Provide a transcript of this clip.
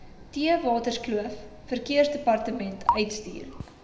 theewaterskloof verkeersdepartement uitstuur